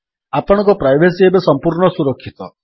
ଆପଣଙ୍କ ପ୍ରାଇଭେସୀ ଏବେ ସମ୍ପୂର୍ଣ୍ଣ ସୁରକ୍ଷିତ